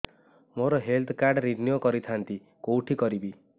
ମୋର health card renew କରିଥାନ୍ତି କୋଉଠି କରିବି